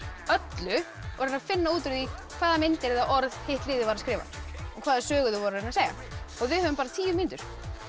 öllu og reyna að finna út úr því hvaða mynd eða orð hitt liðið var að skrifa og hvaða sögu þau voru að reyna að segja og við höfum bara tíu mínútur